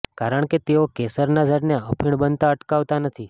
કારણ કે તેઓ કેસરનાં ઝાડને અફીણ બનતા અટકાવતા નથી